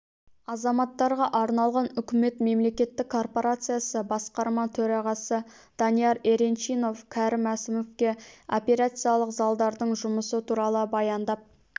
азаматтарға арналған үкімет мемлекеттік корпорациясы басқарма төрағасы данияр еренчинов кәрім мәсімовке операциялық залдардың жұмысы туралы баяндап